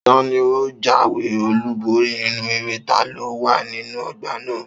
Ta ni ó jáwé olúborí nínú eré taló wà nínú ọgbà náà?